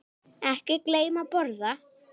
Ekki gleyma að borða.